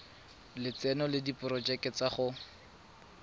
lotseno le diporojeke tsa go